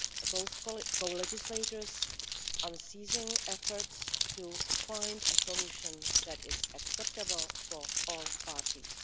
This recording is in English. both co-legislators' unceasing efforts to find a solution that is acceptable for all parties.